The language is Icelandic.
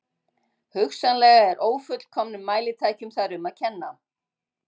Hugsanlega er ófullkomnum mælitækjum þar um að kenna.